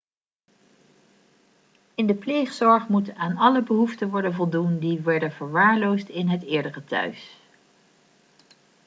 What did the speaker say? in de pleegzorg moet aan alle behoeften worden voldoen die werden verwaarloosd in het eerdere thuis